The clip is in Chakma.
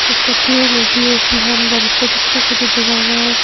ikko tiyeney tiye hi ham gorettey dokkey guri dega jai.